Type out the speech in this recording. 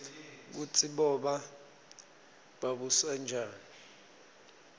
kutsi boba babusanjani